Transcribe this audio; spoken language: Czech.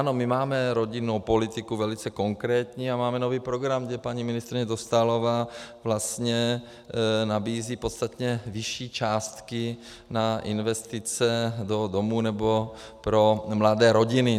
Ano, my máme rodinnou politiku velice konkrétní a máme nový program, kde paní ministryně Dostálová vlastně nabízí podstatně vyšší částky na investice do domů nebo pro mladé rodiny.